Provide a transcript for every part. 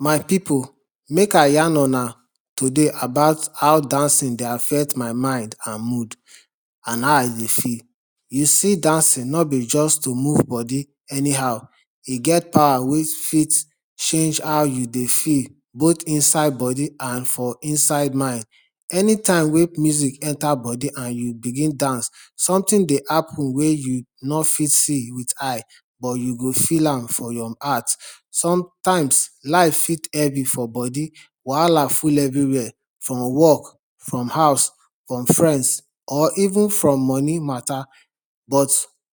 My people make i yarn una today about how dancing dey affect my mind and mood and how i dey feel. You see dancing no be just to move body anyhow e get power wey fit change how you dey feel both inside body and for inside mind. Anytime wey music enter body and you begin dance something dey happen wey you no fit see with eye but you go feel am for your heart. Sometimes life fit heavy for body wahala full everywhere from work, from house, from friends or even from money matter but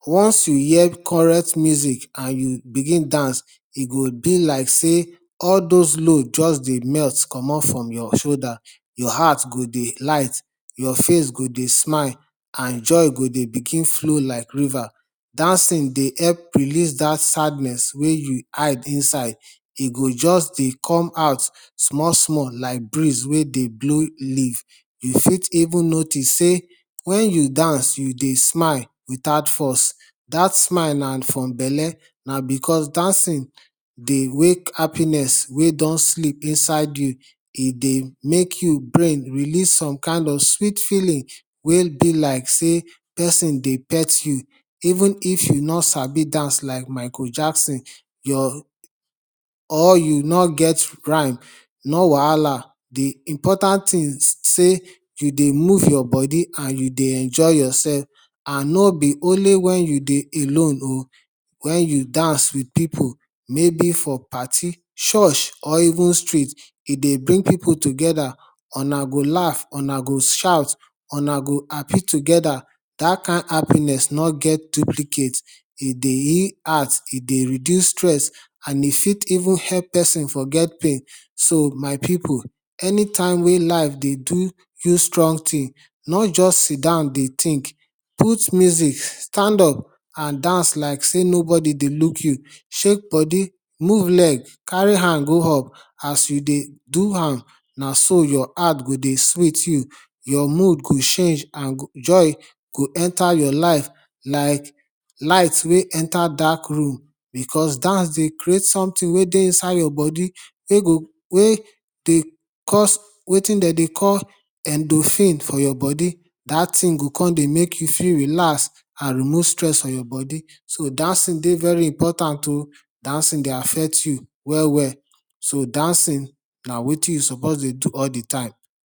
once you hear correct music and you begin dance, e go be like sey all those load just dey melt comot from your shoulder, your heart go dey light, your face go dey smile and joy go dey begin flow like river. Dancing dey help release that sadness wey you hide inside e go just dey come out small small like breeze wey dey blow leaf you fit even notice sey when you dance, you dey smile without force dat smile na from belle na because dancing dey wake happiness wey don sleep inside you, e dey make you brain release some kain of sweet feeling wey be like sey pesin dey pet you even if you no sabi dance like Micheal Jackson or you no get rhyme no wahala de important thing sey you dey move your body and you dey enjoy yourself and no be only when you dey alone oo, when you dance with people maybe for party, church or even street. E dey bring people together una go laugh, una go shout, una go happy together that kain happiness no get duplicate. E dey heal heart, e dey reduce stress and e fit even help person forget pain so my people anytime wey life dey do you strong thing no just sidan dey think ,put music stand up and dance like sey nobody dey look you, shake body move leg carry hand go up as you dey do am na so your heart go dey sweet you, your mood go change and joy go enter your life like light wey enter dark room. because dance dey create something wey dey inside your body wey dey cause wetin dem dey go endophine for your body dat thing go come dey make you feel relaxed and remove stress from your body so dancing dey very important oo, dancing dey affect you well well so dancing na wetin you suppose dey do all dey time.